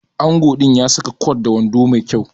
Ango din ya saka kwat da wando Mai kyau